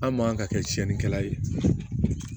An man ka kɛ tiɲɛnikɛla ye